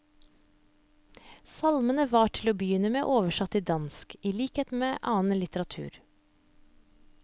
Salmene var til å begynne med oversatt til dansk, i likhet med annen litteratur.